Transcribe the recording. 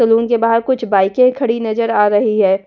Salon के बाहर कुछ बाइकें खड़ी नजर आ रही है।